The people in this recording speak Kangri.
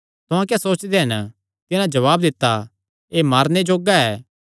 तुहां क्या सोचदे हन तिन्हां जवाब दित्ता एह़ मारने जोग्गा ऐ